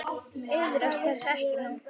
Iðrast þess ekki nú.